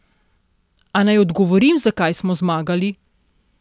A naj odgovorim, zakaj smo zmagali.